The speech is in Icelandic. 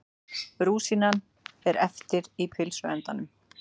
Rúsínan er eftir í pylsuendanum.